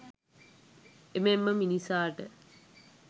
එමෙන්ම මිනිසාට